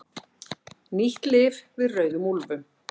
Nýtt lyf við rauðum úlfum